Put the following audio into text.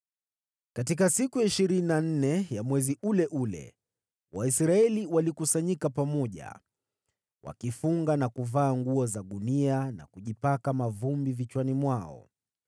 Katika siku ya ishirini na nne ya mwezi ule ule, Waisraeli walikusanyika pamoja, wakifunga na kuvaa nguo za gunia na kujitia mavumbi vichwani mwao.